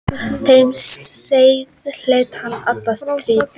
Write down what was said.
Þeim sið hélt hann alla tíð.